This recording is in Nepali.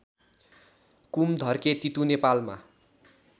कुमधर्के तितु नेपालमा